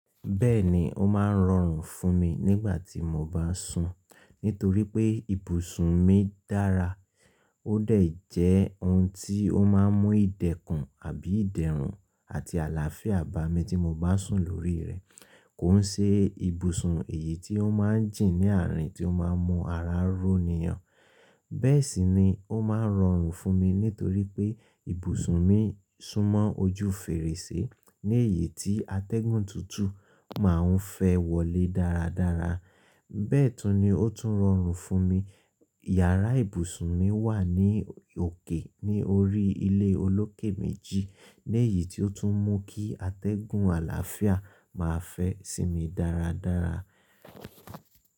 Bẹ́ẹ̀ni ó máa ń rọrùn fún mi nígbà tí mo bá sùn nítorí pé ibùsùn mi dára. Ó dà jẹ́ ohun tí ó máa ń mú ìdẹ̀kùn àbí ìdẹ̀rùn àti àlàáfíà bá mi tí mo bá sùn lórí rẹ̀. Kó ṣe ibùsùn èyí tí ó máa ń jìn ní àárín tí ó máa ń mú ara ró nìyàn. Bẹ́ẹ̀ sì ni ó máa ń rọrùn fún mi nítorí pé ibùsùn mi súnmọ́ ojú fèrèsé ní èyí tí atẹ́gùn tútù máa ń fẹ́ wọlé dáradára. Bẹ́ẹ̀ tún ni ó tún rọrùn fún mi. Yàrá ibùsùn mi wà ní òkè ní orí ilé olókè méjì. Ní èyí tí ó tún mú kí atẹ́gùn àlàáfíà máa fẹ́ sí mi dáradára.